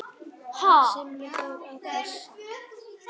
Simmi fór að flissa.